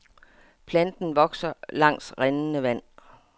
Planten vokser langs rindende vand.